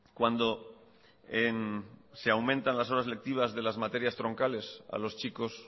cuando se aumentan las horas lectivas de las materias troncales a los chicos